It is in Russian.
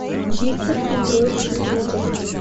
виктор петрович другов